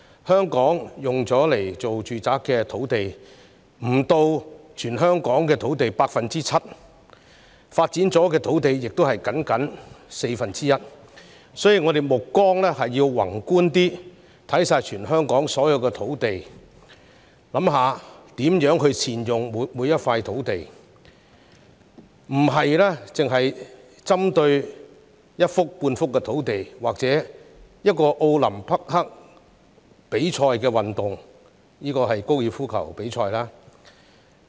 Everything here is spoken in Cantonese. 香港用作住宅用途的土地不足全港土地的 7%， 已發展的土地亦僅佔全港土地的四分之一，所以我們應該更宏觀地放眼全港所有土地，思考如何善用每幅土地，而不應單單針對一幅半幅與奧林匹克比賽項目有關的用地。